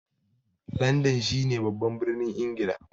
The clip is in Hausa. Landan shi ne babban birnin Ingila